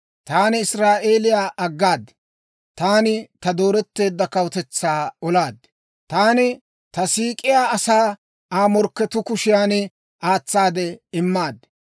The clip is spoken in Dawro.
«Taani Israa'eeliyaa aggaad; taani ta dooretteedda kawutetsaa olaad. Taani ta siik'iyaa asaa Aa morkketuu kushiyan aatsaade immaad.